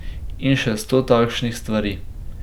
In še sto takšnih stvari.